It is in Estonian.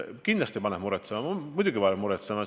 Kindlasti paneb see muretsema, muidugi paneb muretsema!